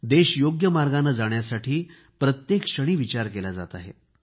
देश योग्य मार्गाने जाण्यासाठी प्रत्येक क्षणी विचार केला जात आहे